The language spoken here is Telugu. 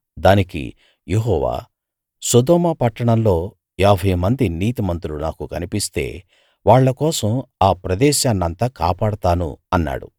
దానికి యెహోవా సొదొమ పట్టణంలో యాభైమంది నీతిమంతులు నాకు కనిపిస్తే వాళ్ళ కోసం ఆ ప్రదేశాన్నంతా కాపాడతాను అన్నాడు